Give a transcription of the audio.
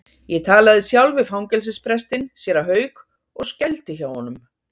Ég talaði sjálf við fangelsisprestinn, séra Hauk, og skældi hjá honum.